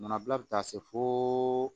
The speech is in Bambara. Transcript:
Manabila bi taa se fo